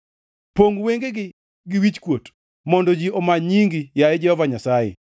Pongʼ wengegi gi wichkuot mondo ji omany nyingi, yaye Jehova Nyasaye.